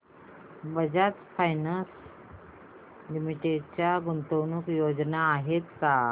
Bajaj finance limited च्या गुंतवणूक योजना आहेत का